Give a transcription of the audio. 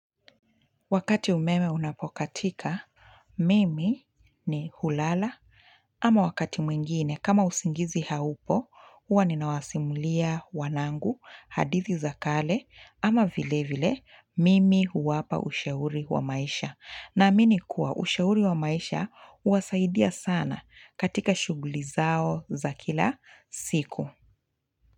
Wakati umeme unapokatika mimi ni hulala ama wakati mwingine kama usingizi haupo, hua ninawasimulia wanangu hadithi za kale, ama vile vile mimi huwapa ushauri wa maisha naamini kuwa ushauri wa maisha uwasaidia sana katika shuguli zao za kila siku.